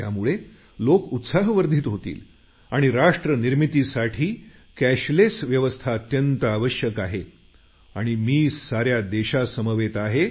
त्यामुळे लेाक उत्साहवर्धित होतील आणि राष्ट्र निर्मितीसाठी कॅशलेस व्यवस्था अत्यंत आवश्यक आहे आणि मी साऱ्या देशासमवेत आहे